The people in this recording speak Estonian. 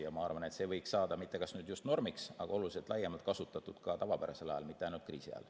Ja ma arvan, et see võiks saada kui mitte just normiks, siis vähemalt oluliselt laiemalt kasutatuks ka tavapärasel ajal, mitte ainult kriisi ajal.